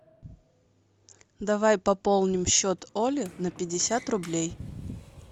давай пополним счет оли на пятьдесят рублей